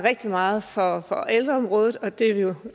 rigtig meget for ældreområdet og det er vi jo